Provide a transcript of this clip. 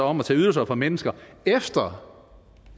om at tage ydelser fra mennesker efter